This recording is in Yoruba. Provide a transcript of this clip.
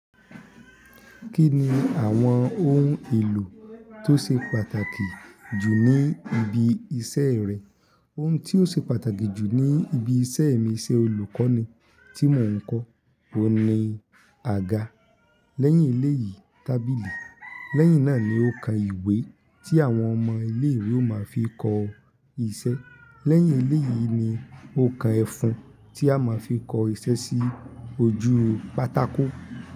Kí ni àwọn ohun èlò tó ṣe pàtàkì jù ní ibi iṣẹ́ rẹ? Ohun tí ó ṣe pàtàkì jù ní ibi iṣẹ́ mi, ìṣe olùkọ́ ni tí mò ń kọ́, òun ni àga. Lẹ́yìn ilé yìí, tábìlì. Lẹ́yìn náà ni òǹkà ìwé tí àwọn ọmọ ilé ìwé ó máa fi kọ iṣẹ́. Lẹ́yìn ilé yìí ni òǹkà ẹ̀fún tí a máa fi kọ iṣẹ́ sí ojú pátákó.